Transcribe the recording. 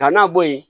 Ka na bɔ yen